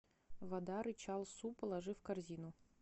вода рычал су положи в корзину